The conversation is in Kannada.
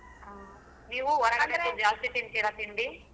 ಹ್ಮ್ ನೀವು ಹೊರಗಡೆದೆ ಜಾಸ್ತಿ ತಿಂತಿರಾ ತಿಂಡಿ.